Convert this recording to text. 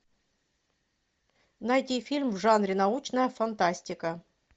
найти фильм в жанре научная фантастика